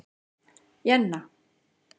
Jenna